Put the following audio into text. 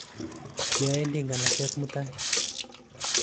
Kioendi nganset mutai.